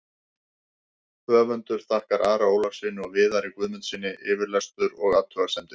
Höfundur þakkar Ara Ólafssyni og Viðari Guðmundssyni yfirlestur og athugasemdir.